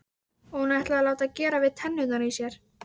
Og hún ætlaði að láta gera við tennurnar í sér.